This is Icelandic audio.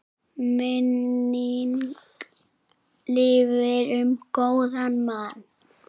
Minning lifir um góðan mann.